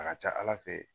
A ka ca ala fɛ